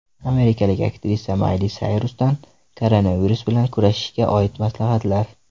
Amerikalik aktrisa Mayli Sayrusdan koronavirus bilan kurashishga oid maslahatlar.